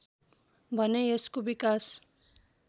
भने यसको विकास